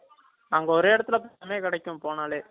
அங்க ஒரே இடத்துல போனாலே கிடைக்கும்